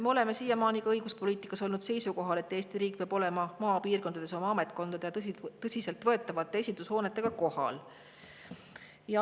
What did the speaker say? Me oleme siiamaani õiguspoliitikas olnud seisukohal, et Eesti riik peab olema maapiirkondades oma ametkondade ja tõsiselt võetavate esindushoonetega kohal.